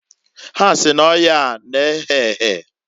Ha si n'oyaa na-ehe ehe."